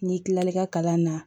N'i kilala i ka kalan na